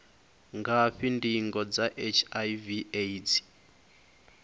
ngafhi ndingo dza hiv aids